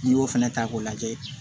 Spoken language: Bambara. N'i y'o fana ta k'o lajɛ